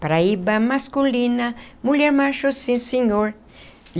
Paraíba masculina, mulher macho, sim senhor.